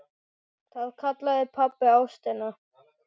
Það kallaði pabbi ástina.